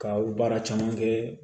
Ka baara caman kɛ